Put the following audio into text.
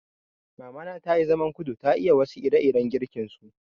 Mamana tayi zaman kudu, ta iya wasu ire-iren girkin su.